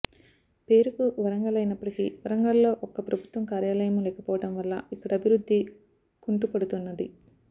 పేరుకు వరంగల్ అయినప్పటికీ వరంగల్లో ఒక్క ప్రభుత్వ కార్యాలయమూ లేకపోవడం వల్ల ఇక్కడ అభివృద్ధి కుంటుపడుతున్నది